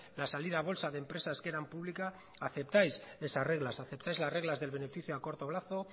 la salida a bolsa de empresas que eran públicas aceptáis esas reglas aceptáis las reglas del beneficio a corto plazo